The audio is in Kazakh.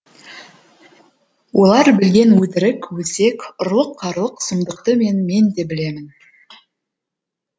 олар білген өтірік өсек ұрлық қарлық сұмдықты мен мен де білемін